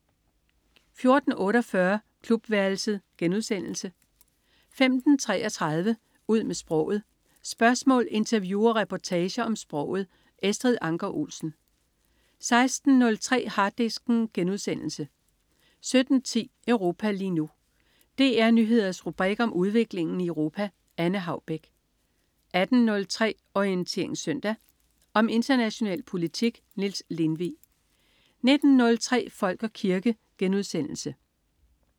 14.48 Klubværelset* 15.33 Ud med sproget. Spørgsmål, interview og reportager om sproget. Estrid Anker Olsen 16.03 Harddisken* 17.10 Europa lige nu. DR Nyheders rubrik om udviklingen i Europa. Anne Haubek 18.03 Orientering Søndag. Om international politik. Niels Lindvig 19.03 Folk og kirke*